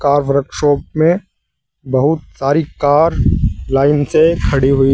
car workshop में बहुत सारी कार लाइन से खड़ी हुई--